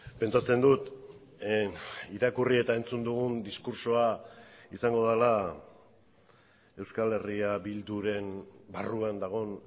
pentsatzen dut irakurri eta entzun dugun diskurtsoa izango dela euskal herria bilduren barruan dagoen